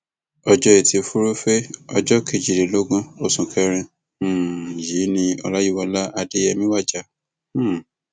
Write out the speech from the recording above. ọjọ etí furuufee ọjọ kejìlélógún oṣù kẹrin um yìí ni ọláyíwọlá adéyẹmi wájà um